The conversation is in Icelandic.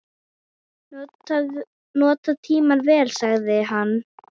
Nota tímann vel, sagði hann.